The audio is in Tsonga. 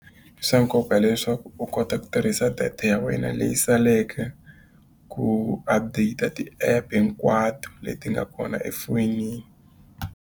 I swa nkoka leswaku u kota ku tirhisa data ya wena leyi saleke, ku update-a ti-app hinkwato leti nga kona efonini.